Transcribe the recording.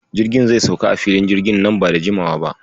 Jirgin zai sauka a Filin jirgin na ba da jimawa ba.